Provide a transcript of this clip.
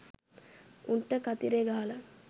උන්ට කතිරේ ගහලා